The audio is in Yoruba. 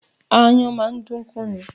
Aáyán máa dán kú ni